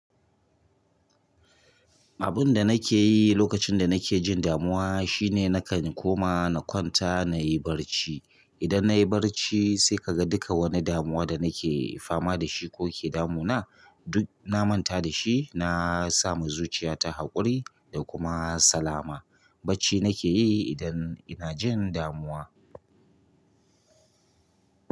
Abin da nake yi lokacin da nake jin damuwa shine na kan koma na kwanta na yi barci. Idan nayi barci sai ka ga duka wani damuwa da nake fama da shi ko ke damuna duk na manta da shi. Na samu zuciya ta haƙuri da kuma salama. Barci nake yi idan ina jin damuwa.